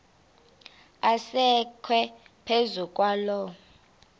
asekwe phezu kwaloo